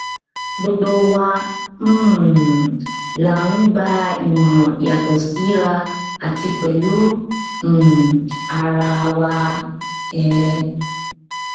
gbogbo wa um la ń gba ìmọràn yàtọ síra àti pẹlú um ara wa um